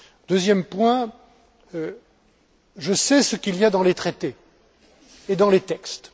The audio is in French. Deuxième point je sais ce qu'il y a dans les traités et dans les textes.